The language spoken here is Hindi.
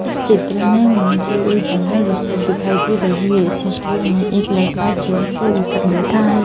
इस चित्र में मुझे एक जनरल स्टोर दिखाई दे रही है इस स्टोर में एक लड़का चेयर के ऊपर बैठा है।